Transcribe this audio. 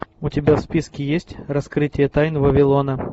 у тебя в списке есть раскрытие тайн вавилона